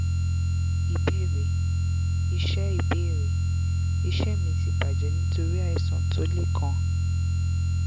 ìbéèrè: iṣẹ́ ìbéèrè: iṣẹ́ mi ti bajẹ́ nitori aìsàn tó le kan